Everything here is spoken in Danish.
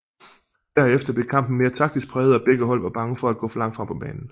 Der efter blev kampen mere taktisk præget og begge hold var bange for at gå for langt frem på banen